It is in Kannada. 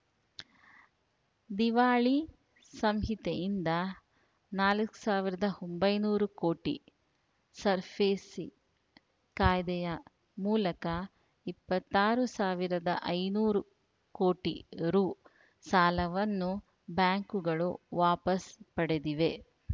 ದಿವಾಳಿ ಸಂಹಿತೆಯಿಂದ ನಾಲ್ಕ್ ಸಾವಿರದ ಒಂಬೈನೂರು ಕೋಟಿ ಸರ್ಫೇಸಿ ಕಾಯ್ದೆಯ ಮೂಲಕ ಇಪ್ಪತ್ತಾರು ಸಾವಿರದ ಐನೂರು ಕೋಟಿ ರು ಸಾಲವನ್ನು ಬ್ಯಾಂಕುಗಳು ವಾಪಸ್‌ ಪಡೆದಿವೆ